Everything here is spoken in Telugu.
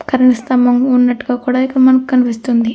కరెంట్ స్తంబం వున్నటు గ కూడా మనకి కనిపిస్థున్ది.